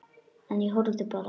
En ég horfði bara.